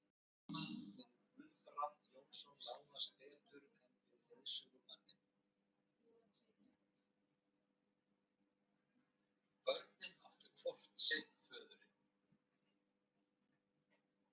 Friðrik ákvað að þeir skyldu flýta för sinni frá Íslandi og fljúga til